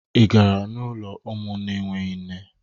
Ị gara n'ụlọ ụmụ na-enweghị nne?